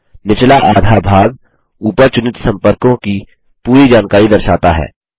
निचला आधा भाग ऊपर चुनित सम्पर्क की पूरी जानकारी दर्शाता है